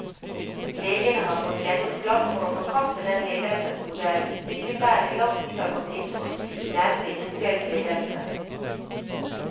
Legene har fått gjennomslag for å forkaste den ledelsesmodellen sykepleierne i lang tid har gått inn for, nemlig todelt ledelse.